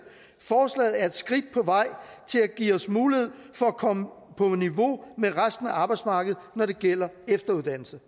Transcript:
forslaget er et skridt på vej til at give os mulighed for at komme på niveau med resten af arbejdsmarkedet når det gælder efteruddannelse